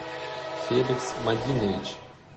феликс мадинович